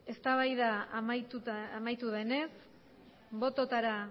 eztabaida amaitu denez bototara